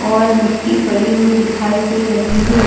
और मिट्टी पड़ी हुई दिखाई दे रही है।